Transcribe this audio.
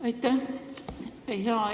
Aitäh!